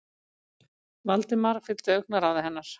Valdimar fylgdi augnaráði hennar.